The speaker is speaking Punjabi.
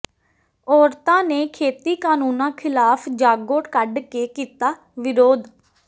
ਔਰਤਾਂ ਨੇ ਖੇਤੀ ਕਾਨੂੰਨਾਂ ਖ਼ਿਲਾਫ਼ ਜਾਗੋ ਕੱਢ ਕੇ ਕੀਤਾ ਵਿਰੋਧ